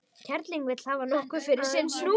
Kerling vill hafa nokkuð fyrir sinn snúð.